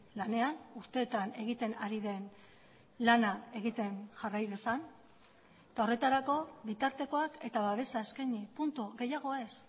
lanean urteetan egiten ari den lana egiten jarrai dezan eta horretarako bitartekoak eta babesa eskaini puntu gehiago ez